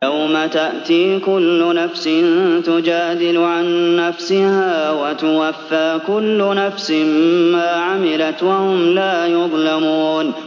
۞ يَوْمَ تَأْتِي كُلُّ نَفْسٍ تُجَادِلُ عَن نَّفْسِهَا وَتُوَفَّىٰ كُلُّ نَفْسٍ مَّا عَمِلَتْ وَهُمْ لَا يُظْلَمُونَ